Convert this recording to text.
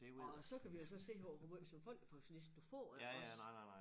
Og så kan vi jo så se på hvor måj som folkepensionist du får iggås